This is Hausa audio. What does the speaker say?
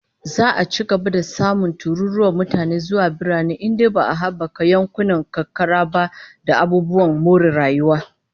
Za'a ci gaba da samun tururuwar mutane zuwa birane in dai ba'a habaka yankunan karkara ba da abubuwan more rayuwa